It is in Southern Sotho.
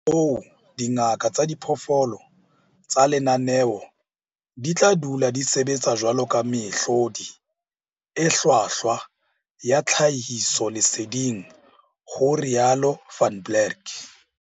Ka hoo, dingaka tsa diphoofolo tsa lenaneo di tla dula di sebetsa jwaloka mehlodi e hlwahlwa ya tlhahisoleseding, ho rialo Van Blerk.